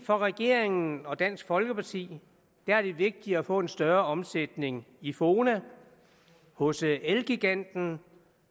for regeringen og dansk folkeparti er det vigtigere at få en større omsætning i fona hos elgiganten